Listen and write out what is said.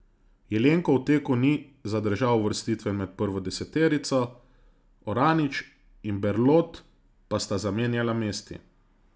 Jelenko v teku ni zadržal uvrstitve med prvo deseterico, Oranič in Berlot pa sta zamenjala mesti.